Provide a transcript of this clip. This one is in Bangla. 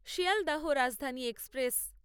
শিয়ালদাহ রাজধানী এক্সপ্রেস